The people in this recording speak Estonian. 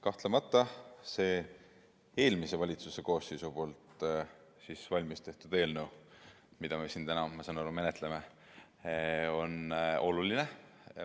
Kahtlemata on see eelmises valitsuses valmis tehtud eelnõu, mida me täna siin menetleme, oluline.